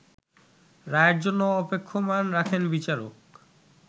রায়ের জন্য অপেক্ষমাণ রাখেন বিচারক